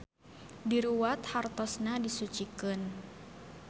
Diruwat hartosna disucikeun.